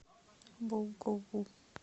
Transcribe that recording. болгову